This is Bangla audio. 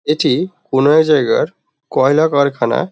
এটি কোনো এক জায়গার কয়লা কারখানা।